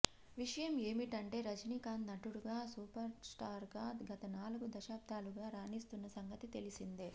విషయం ఏమిటంటే రజనీకాంత్ నటుడుగా సూపర్స్టార్గా గత నాలుగు దశాబ్దాలుగా రాణిస్తున్న సంగతి తెలిసిందే